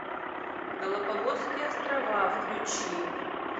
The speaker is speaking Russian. галапагосские острова включи